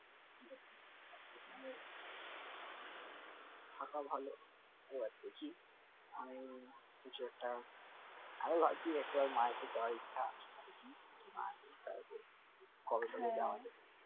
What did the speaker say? থাকা ভালো আমি কিছু একটা আরো ভাবছি একবার মায়াপুরি যাওয়ার ইচ্ছা আছে, দেখি মায়াপুরি মায়াপুরি কবে নাগাদ যাওয়া যায়